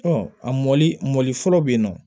a mɔli mɔ fɔlɔ bɛ yen nɔ